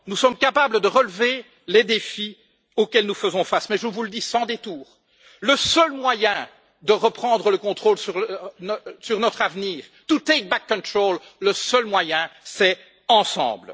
Nous sommes capables de relever les défis auxquels nous faisons face, mais je vous le dis sans détour le seul moyen de reprendre le contrôle sur notre avenir, c'est ensemble.